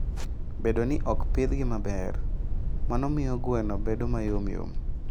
Bedo ni ok opidhgi maber, mano miyo gweno bedo mayom yom.